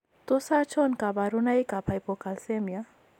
Tos achon kabarunaik ab Hypocalcemia ?